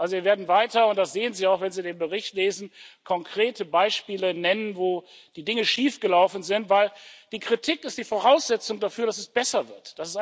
Wir werden weiter das sehen Sie auch, wenn Sie den Bericht lesen konkrete Beispiele nennen, wo die Dinge schiefgelaufen sind, denn die Kritik ist die Voraussetzung dafür, dass es besser wird.